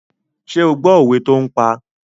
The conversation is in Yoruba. Ṣé ó gbọ́ òwe tó ń pa?